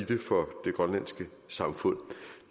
det for det grønlandske samfund